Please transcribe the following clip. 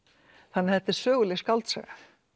þannig að þetta er söguleg skáldsaga